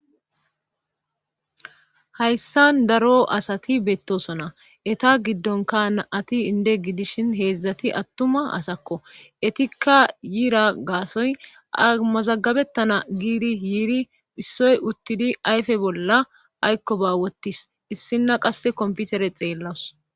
hayssan daro asati beettosona eta giddonka na ati inde gidishin heedzdzati attuma asakko etikka yiira gaasoy amazagabettana giiri yiiri issoy uttidi ayfe bolla aykko ba wotis issinna qasse komputere xeellous